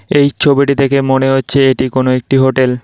এই ছবিটি দেখে মনে হচ্ছে এটি কোন একটি হোটেল ।